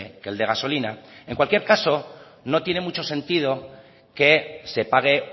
que el de gasolina en cualquier caso no tiene mucho sentido que se pague